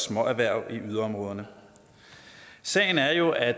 småerhverv i yderområderne sagen er jo at